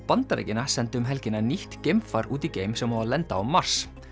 Bandaríkjanna sendi um helgina nýtt geimfar út í geim sem á að lenda á Mars